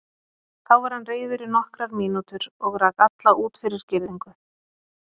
Þá var hann reiður í nokkrar mínútur og rak alla út fyrir girðingu.